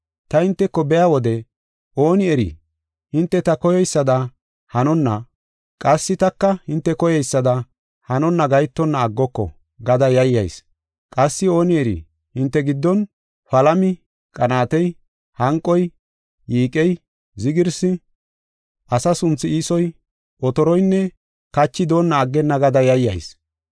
Ta hinteko biya wode ooni eri hinte ta koyeysada hanonna, qassi taka hinte koyeysada hanonna gahetonna aggoko gada yayyayis. Qassi ooni eri hinte giddon palami, qanaatey, hanqoy, yiiqey, zigirsi, asa sunthu iisoy, otoroynne kachi doonna aggenna gada yayyayis.